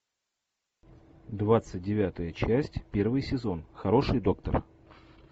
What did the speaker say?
двадцать девятая часть первый сезон хороший доктор